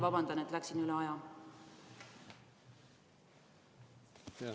Vabandust, et läksin üle aja!